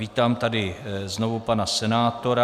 Vítám tady znovu pana senátora.